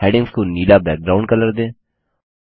headings को नीलाब्लू background colour दें